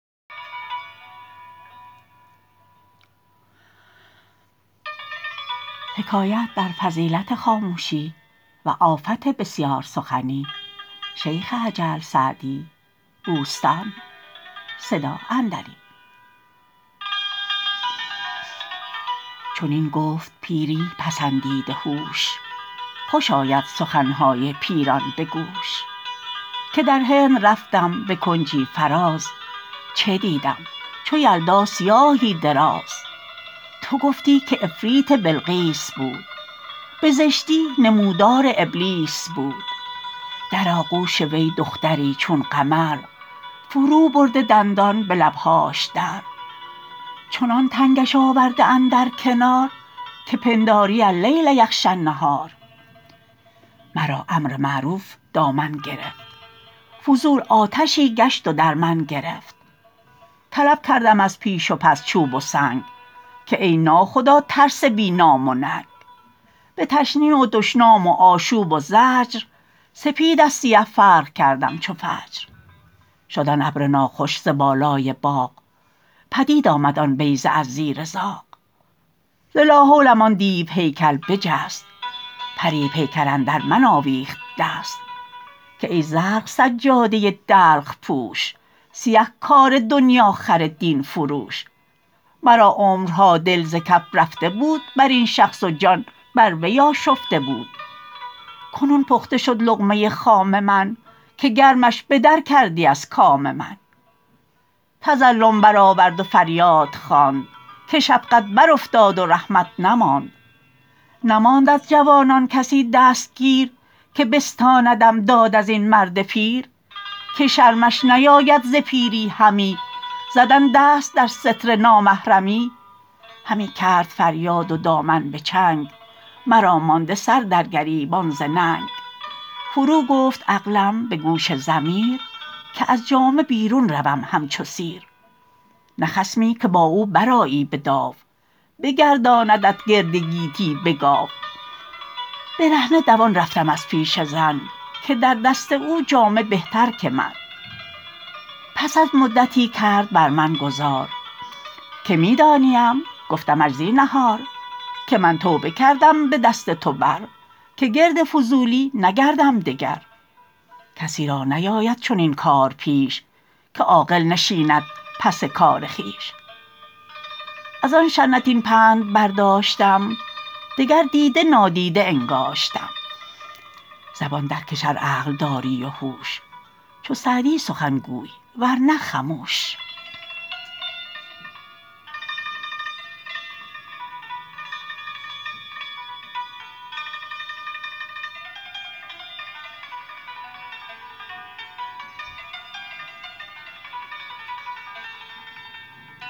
چنین گفت پیری پسندیده هوش خوش آید سخنهای پیران به گوش که در هند رفتم به کنجی فراز چه دیدم چو یلدا سیاهی دراز تو گفتی که عفریت بلقیس بود به زشتی نمودار ابلیس بود در آغوش وی دختری چون قمر فرو برده دندان به لبهاش در چنان تنگش آورده اندر کنار که پنداری اللیل یغشی النهار مرا امر معروف دامن گرفت فضول آتشی گشت و در من گرفت طلب کردم از پیش و پس چوب و سنگ که ای نا خدا ترس بی نام و ننگ به تشنیع و دشنام و آشوب و زجر سپید از سیه فرق کردم چو فجر شد آن ابر ناخوش ز بالای باغ پدید آمد آن بیضه از زیر زاغ ز لا حولم آن دیو هیکل بجست پری پیکر اندر من آویخت دست که ای زرق سجاده دلق پوش سیه کار دنیاخر دین فروش مرا عمرها دل ز کف رفته بود بر این شخص و جان بر وی آشفته بود کنون پخته شد لقمه خام من که گرمش به در کردی از کام من تظلم برآورد و فریاد خواند که شفقت بر افتاد و رحمت نماند نماند از جوانان کسی دستگیر که بستاندم داد از این مرد پیر که شرمش نیاید ز پیری همی زدن دست در ستر نامحرمی همی کرد فریاد و دامن به چنگ مرا مانده سر در گریبان ز ننگ فرو گفت عقلم به گوش ضمیر که از جامه بیرون روم همچو سیر نه خصمی که با او برآیی به داو بگرداندت گرد گیتی به گاو برهنه دوان رفتم از پیش زن که در دست او جامه بهتر که من پس از مدتی کرد بر من گذار که می دانیم گفتمش زینهار که من توبه کردم به دست تو بر که گرد فضولی نگردم دگر کسی را نیاید چنین کار پیش که عاقل نشیند پس کار خویش از آن شنعت این پند برداشتم دگر دیده نادیده انگاشتم زبان در کش ار عقل داری و هوش چو سعدی سخن گوی ور نه خموش